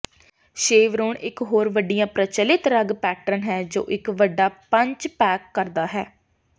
Chevron ਇਕ ਹੋਰ ਵੱਡੀਆਂ ਪ੍ਰਚਲਿਤ ਰੱਗ ਪੈਟਰਨ ਹੈ ਜੋ ਇੱਕ ਵੱਡਾ ਪੰਚ ਪੈਕ ਕਰਦਾ ਹੈ